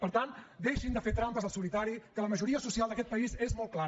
per tant deixin de fer trampes al solitari que la majoria social d’aquest país és molt clara